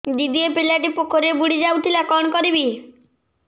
ଦିଦି ଏ ପିଲାଟି ପୋଖରୀରେ ବୁଡ଼ି ଯାଉଥିଲା କଣ କରିବି